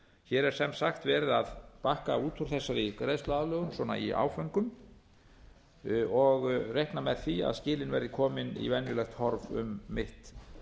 hér er sem sagt verið að bakka út úr þessari greiðsluaðlögun í áföngum þannig að skilin verði komin í eðlilegt horf um mitt